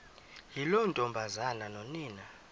yiloo ntombazana nonina